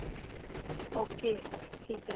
okay ਠੀਕ ਏ